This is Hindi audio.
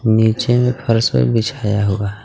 नीचे में फर्श पे बिछाया हुआ हैं.